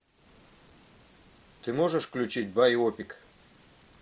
ты можешь включить байопик